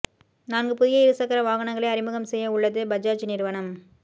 நான்கு புதிய இரு சக்கர வாகனங்களை அறிமுகம் செய்ய உள்ளது பஜாஜ் நிறுவனம்